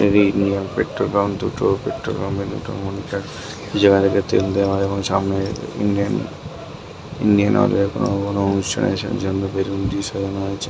Indian petrol pump দুটো petrol পাম্পের দুটো মনিটর জায়গায় তেল দেওয়া সামনে ইন্ডিয়ান ইন্ডিয়ান অয়েল এর অনুষ্ঠান বলে বেলুন দিয়ে সাজানো হয়েছে।